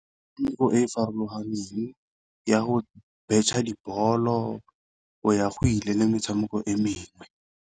Metshameko e e farologaneng ya go betšha dibolo, go ya go ile le metshameko e mengwe.